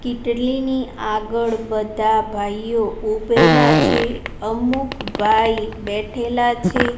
કિટલીની આગળ બધા ભાઈઓ ઉભેલા છે અમુક ભાઈ બેઠેલા છે.